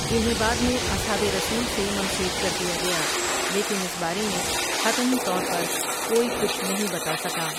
جنہیں بعد میں اصحابؓ رسولؓؐ سے منسوب کردیا گیا لیکن اس بارے میں حتمی طور پر کوئی کچھ نہیں بتا سکا ۔